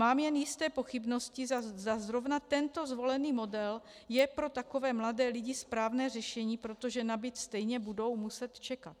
Mám jen jisté pochybnosti, zda zrovna tento zvolený model je pro takové mladé lidi správné řešení, protože na byt stejně budou muset čekat.